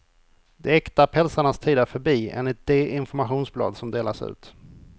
De äkta pälsarnas tid är förbi, enligt de informationsblad som delas ut.